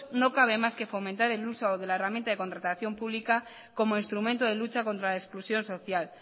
no cabe más que fomentar el uso de la herramienta de contratación pública como instrumento de lucha contra la exclusión social